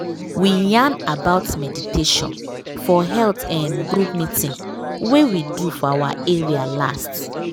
we yarn about meditation for health um group meeting wey we do for our area last.